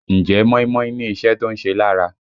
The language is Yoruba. Ǹjẹ́ móímóí ní iṣẹ́ tó ń ṣe lára?